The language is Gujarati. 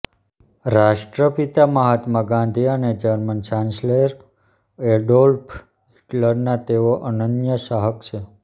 રાષ્ટ્રપિતા મહાત્મા ગાંધી અને જર્મન ચાન્સેલર એડોલ્ફ હિટલરના તેઓ અનન્ય ચાહક છે